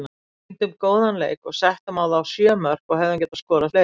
Sýndum góðan leik og settum á þá sjö mörk og hefðum getað skorað fleiri.